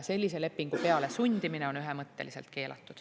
Sellise lepingu pealesundimine on ühemõtteliselt keelatud.